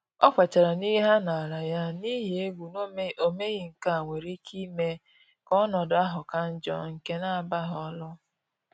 Ọ kwetere na ihe a naala ya, n’ihi egwu na omeghi nkea nwere ike ime ka ọnọdụ ahụ ka njọ nke na-abaghi olu